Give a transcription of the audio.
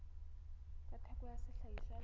tsa theko ya sehlahiswa le